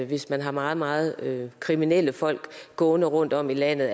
hvis man har meget meget kriminelle folk gående rundt om i landet